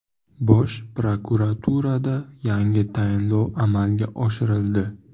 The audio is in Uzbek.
Bosh prokuraturada yangi tayinlov amalga oshirildi.